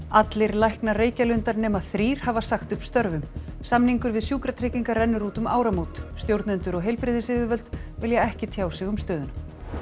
allir læknar Reykjalundar nema þrír hafa sagt upp störfum samningur við Sjúkratryggingar rennur út um áramót stjórnendur og heilbrigðisyfirvöld vilja ekki tjá sig um stöðuna